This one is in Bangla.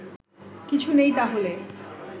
কিছু নেই তাহলে